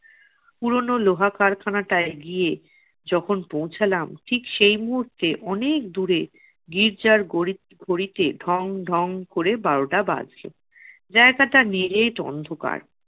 পুরোনো লোহা কারখানাটায় গিয়ে যখন পৌছালাম ঠিক সেই মুহূর্তে অনেক দূরে গির্জার গড়ি~ ঘড়িতে ঢং ঢং করে বারোটা বাজলো। জায়গাটা নিরেট অন্ধকার।